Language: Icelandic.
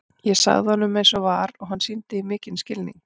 Ég sagði honum eins og var og hann sýndi því mikinn skilning.